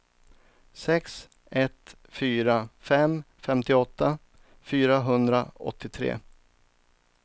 sex ett fyra fem femtioåtta fyrahundraåttiotre